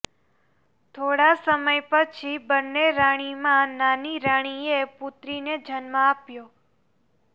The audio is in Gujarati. થોડા સમય પછી બંને રાણીમાં નાની રાણીએ પુત્રીને જન્મ આપ્યો